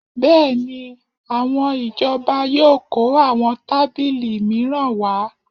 Bẹ́ẹ̀ni, àwọn ìjọba yóò kó àwọn tábìlì mìíràn wá